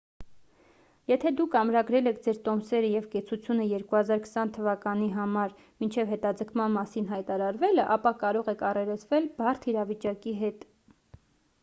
եթե դուք ամրագրել եք ձեր տոմսերը և կեցությունը 2020 թվականի համար մինչև հետաձգման մասին հայտարարվելը ապա կարող եք առերեսվել բարդ իրավիճակի հետ